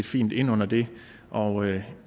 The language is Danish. fint ind under det og